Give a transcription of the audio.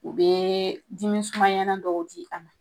U bee dimi sumayana dɔw di a ma.